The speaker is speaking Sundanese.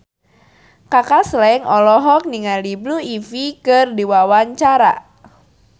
Kaka Slank olohok ningali Blue Ivy keur diwawancara